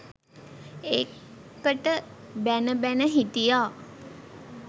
ඒකට බැණ බැණ හිටියා